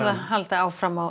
hún haldi áfram að